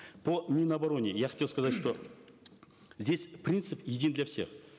по мин обороне я хотел сказать что здесь принцип един для всех